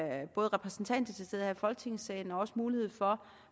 er repræsentanter til stede her i folketingssalen og også mulighed for